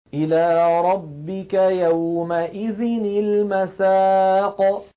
إِلَىٰ رَبِّكَ يَوْمَئِذٍ الْمَسَاقُ